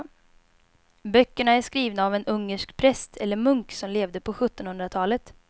Böckerna är skrivna av en ungersk präst eller munk som levde på sjuttonhundratalet.